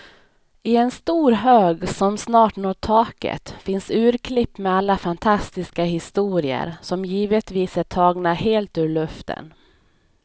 I en stor hög som snart når taket finns urklipp med alla fantastiska historier, som givetvis är tagna helt ur luften.